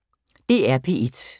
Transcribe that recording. DR P1